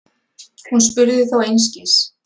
Hún spurði þó einskis.